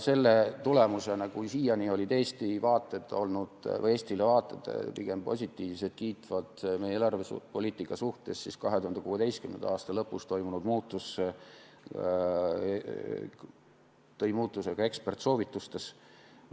Kui siiani olid vaated Eestile olnud pigem positiivsed, meie eelarvepoliitikat kiitvad, siis 2016. aasta lõpus toimunud muutus tõi muutuse ka eksperdisoovitustes.